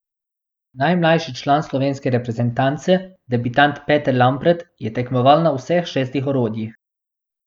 Najmlajši član slovenske reprezentance, debitant Peter Lampret, je tekmoval na vseh šestih orodjih.